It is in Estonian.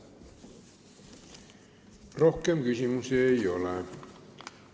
Rohkem küsimusi ei ole.